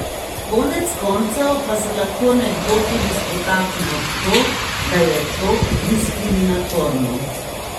Konec koncev pa se lahko nekdo tudi spotakne ob to, da je to diskriminatorno.